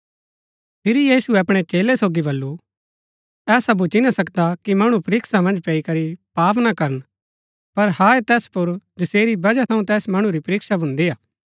फिरी यीशुऐ अपणै चेलै सोगी बल्लू ऐसा भूच्ची ना सकदा कि मणु परीक्षा मन्ज पैई करी पाप ना करन पर हाय हा तैस पुर जसेरी बजह थऊँ तैस मणु री परीक्षा भून्दी हा